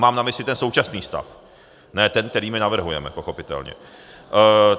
Mám na mysli ten současný stav, ne ten, který my navrhujeme, pochopitelně.